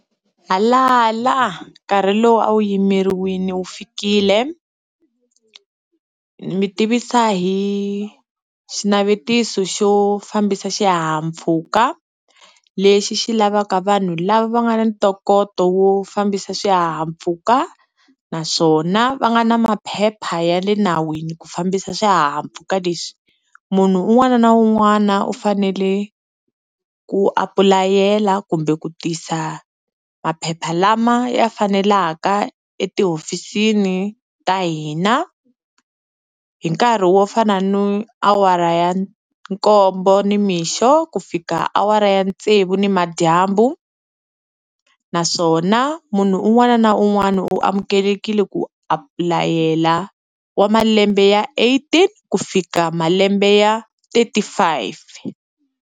Halala nkarhi lowu a wu yimeriwini wu fikile, hi mi tivisa hi xinavetiso xo fambisa xihahampfhuka lexi xi lavaka vanhu lava nga na ntokoto wo fambisa swihahampfhuka naswona va nga na maphepha ya le nawini ku fambisa swihahampfhuka lexi, munhu un'wana na un'wana u fanele ku apulayela kumbe ku tisa maphepha lama ya fanelaka etihofisini ta hina hi nkarhi wo fana na awara ya nkombo nimixo ku fika awara ya tsevu nimadyambu, naswona munhu un'wana na un'wana u amukelekile ku apulayela wa malembe ya eighteen ku fika malembe ya thirty five.